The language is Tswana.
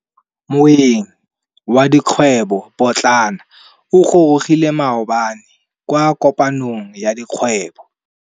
Moêng wa dikgwêbô pôtlana o gorogile maabane kwa kopanong ya dikgwêbô.